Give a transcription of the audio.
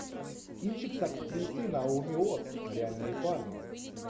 кинчик с актрисой наоми уоттс реальные парни